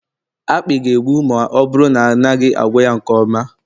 akpị ga-egbu ma ọ bụrụ na a naghị agwọ ya nke ọma